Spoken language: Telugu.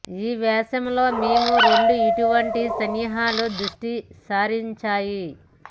ఈ వ్యాసం లో మేము రెండు ఇటువంటి సన్నాహాలు దృష్టి సారించాయి